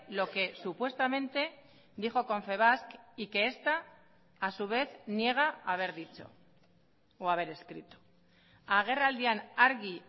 lo que supuestamente dijo confebask y que esta a su vez niega haber dicho o haber escrito agerraldian argi